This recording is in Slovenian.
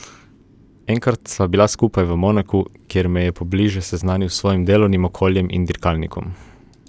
Enkrat sva bila skupaj tudi v Monaku, kjer me je pobliže seznanil s svojim delovnim okoljem in dirkalnikom.